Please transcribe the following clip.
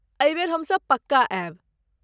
एहि बेर हमसभ पक्का आयब।